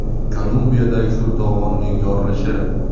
Kolumbiyadagi suv to‘g‘onining yorilishi.